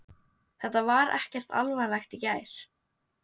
Þetta var ekkert alvarlegt í gær.